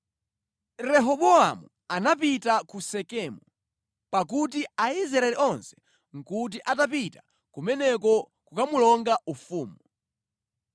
Rehobowamu anapita ku Sekemu, pakuti Aisraeli onse nʼkuti atapita kumeneko kukamulonga ufumu.